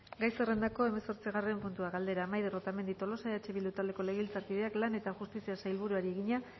gai zerrendako hamazortzigarren puntua galdera maider otamendi tolosa eh bildu taldeko legebiltzarkideak lan eta justiziako sailburuari egina